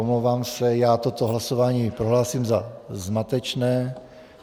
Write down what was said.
Omlouvám se, ale toto hlasování prohlásím za zmatečné.